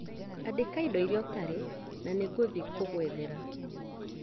Andĩka indũ irĩa ũtarĩ na nĩngũthiĩ kũgũethera